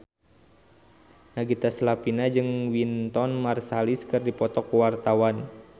Nagita Slavina jeung Wynton Marsalis keur dipoto ku wartawan